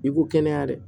I ko kɛnɛya dɛ